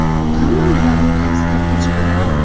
Hamma medalni o‘ylab startga chiqadi.